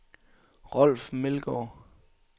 Rolf Meldgaard